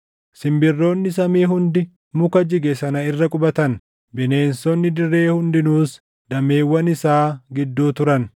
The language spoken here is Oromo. Simbirroonni samii hundi muka jige sana irra qubatan; bineensonni dirree hundinuus dameewwan isaa gidduu turan.